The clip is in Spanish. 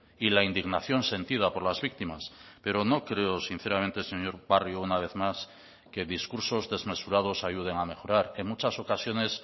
y la indignación sentida por las víctimas pero no creo sinceramente señor barrio una vez más que discursos desmesurados ayuden a mejorar en muchas ocasiones